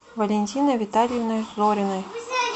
валентиной витальевной зориной